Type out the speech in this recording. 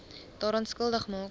daaraan skuldig maak